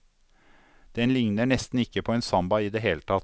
Den likner nesten ikke på en samba i det hele tatt.